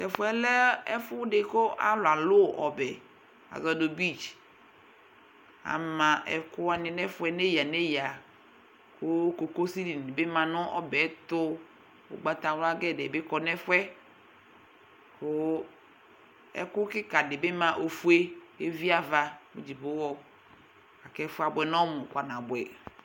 Tɛfuɛ lɛ ɛfu ɛdi kʋ alu alu ɔbɛ:Asɔ nʋ beachAma ɛkʋwani nɛfuɛ neya neyaKʋ kokosi dini bi ma nʋ ɔbɛɛ tuUgbatawla gɛdɛɛ bi ma nɛfuɛKʋ ɛkʋ kika dibi ma ofue, keviava mu dzipoɣɔKɛfuɛ abuɛ nɔmu kpanabuɛ